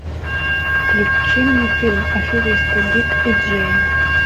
включи мне фильм аферисты дик и джейн